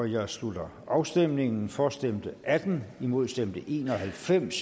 jeg slutter afstemningen for stemte atten imod stemte en og halvfems